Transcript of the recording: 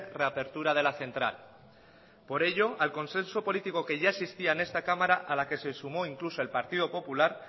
reapertura de la central por ello al consenso político que ya existía en esta cámara a la que se sumó incluso el partido popular